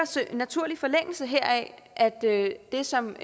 i naturlig forlængelse heraf at at det er det som